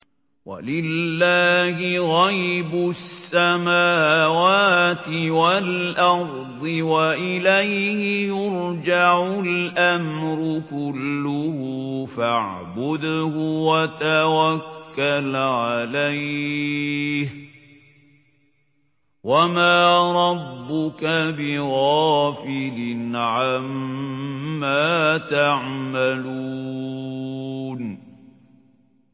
وَلِلَّهِ غَيْبُ السَّمَاوَاتِ وَالْأَرْضِ وَإِلَيْهِ يُرْجَعُ الْأَمْرُ كُلُّهُ فَاعْبُدْهُ وَتَوَكَّلْ عَلَيْهِ ۚ وَمَا رَبُّكَ بِغَافِلٍ عَمَّا تَعْمَلُونَ